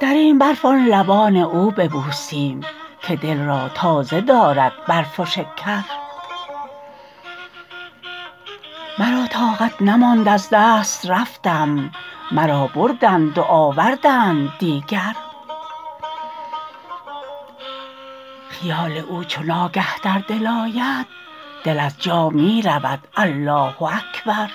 در این برف آن لبان او ببوسیم که دل را تازه دارد برف و شکر مرا طاقت نماند از دست رفتم مرا بردند و آوردند دیگر خیال او چو ناگه در دل آید دل از جا می رود الله اکبر